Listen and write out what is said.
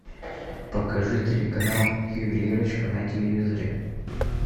покажи телеканал ювелирочка на телевизоре